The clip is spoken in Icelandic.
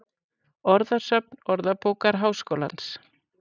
Orðasöfn Orðabókar Háskólans.